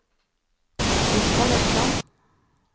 Osvald Økland